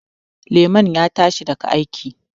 Lemon ya tashi daga aiki